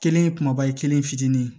Kelen ye kumaba ye kelen fitinin ye